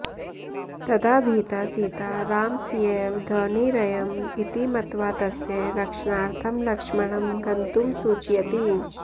तदा भीता सीता रामस्यैव ध्वनिरयम् इति मत्वा तस्य रक्षणार्थं लक्ष्मणं गन्तुं सूचयति